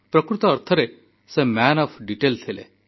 ପ୍ରକୃତ ଅର୍ଥରେ ସେ ମ୍ୟାନ ଅଫ ଡିଟେଲ ଥିଲେ